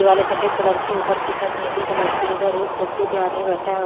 दीवालें सफेद कलर की ऊपर की छत नीली कलर की उधर एक कुर्सी पे आदमी बैठा है।